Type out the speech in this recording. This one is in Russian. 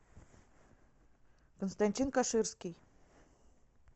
константин каширский